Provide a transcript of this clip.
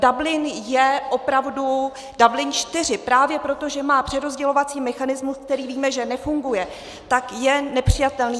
Dublin je opravdu - Dublin IV právě proto, že má přerozdělovací mechanismus, který víme, že nefunguje, tak je nepřijatelný.